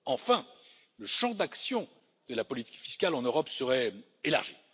Enfin, le champ d'action de la politique fiscale en Europe serait élargi.